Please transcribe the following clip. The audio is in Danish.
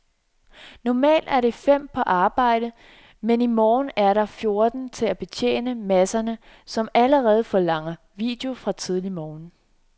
Normalt er der fem på arbejde, men i morgen er der fjorten til at betjene masserne, som allerede forlanger video fra tidlig morgen.